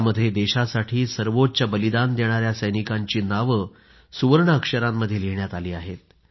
यामध्ये देशासाठी सर्वोच्च बलिदान देणाया सैनिकांची नावं सुवर्ण अक्षरांमध्ये लिहिण्यात आली आहेत